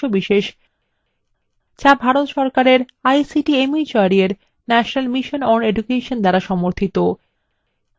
যা ভারত সরকারের ict mhrd এর national mission on education দ্বারা সমর্থিত